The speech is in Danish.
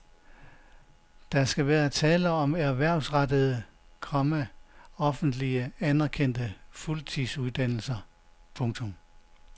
Der skal være tale om erhvervsrettede, komma offentligt anerkendte fuldtidsuddannelser. punktum